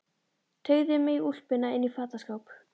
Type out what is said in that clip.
Teygði mig í úlpuna inn í fataskáp.